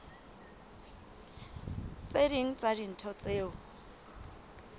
tse ding tsa dintho tseo